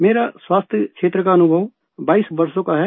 मेरा स्वास्थ्यक्षेत्र का अनुभव 22 वर्षों का है